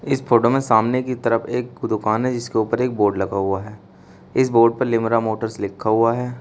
इस फोटो में सामने की तरफ एक दुकान है जिसके ऊपर एक बोर्ड लगा हुआ है इस बोर्ड प लिम्रा मोटर्स लिखा हुआ है।